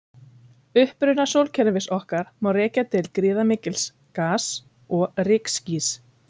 Uppruna sólkerfis okkar má rekja til gríðarmikils gas- og rykskýs.